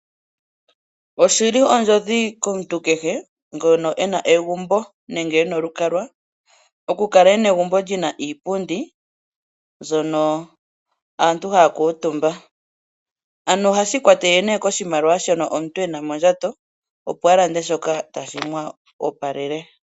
Oshi li ondjodhi komuntu kehe ngono e na egumbo nenge e na olukalwa okukala e na egumbo li na iipundi mbyono aantu haya kuutumba, ano ohashi ikwatelele nduno koshimaliwa shoka omuntu e na mondjato, opo a lande shoka tashi mu opalele.